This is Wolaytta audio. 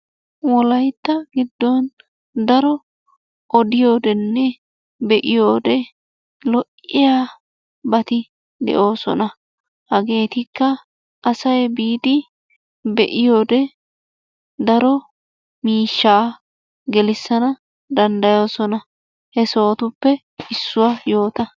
Wolaitta giddon daro oddiyodenne beiyode loiyabatti deoosona. Hageetikka assay biidi beiyode daro miishshaa gelissana dandayoosona. He sohotuppe issuwa yoota.